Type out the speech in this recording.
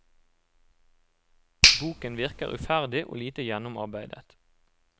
Boken virker uferdig og lite gjennomarbeidet.